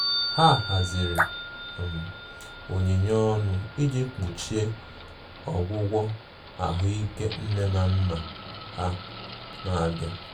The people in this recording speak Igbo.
Ha haziri um onyinye ọnụ iji kpuchie ọgwụgwọ ahuike nne na nna ha na-abịa.